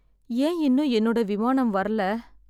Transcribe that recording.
ஏன் இன்னும் என்னோட விமானம் வரல.